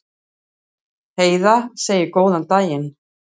Heiða segir góðan daginn!